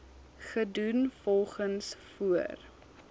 gedoen volgens voor